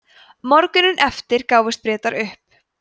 morguninn eftir gáfust bretar upp